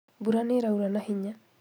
Mbura nĩĩraura na hinya